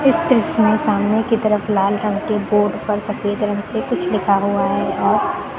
इस दृश्य में सामने की तरफ लाल रंग के बोर्ड पर सफेद रंग से कुछ लिखा हुआ है और --